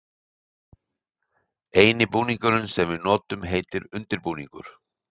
eini búningurinn sem við notum heitir undir-búningur.